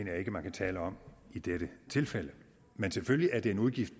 jeg ikke man kan tale om i dette tilfælde men selvfølgelig er det en udgift